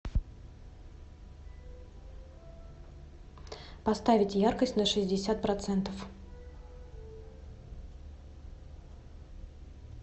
поставить яркость на шестьдесят процентов